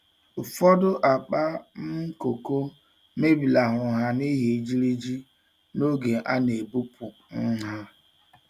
Ufodu akpa um koko mebilahuru ha n'ihi ijiriji n'oge a na-ebupu um ha.